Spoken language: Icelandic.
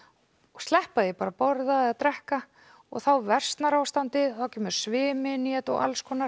sleppa því bara að borða eða drekka og þá versnar ástandið þá kemur svimi inn í þetta og